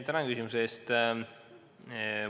Tänan küsimuse eest!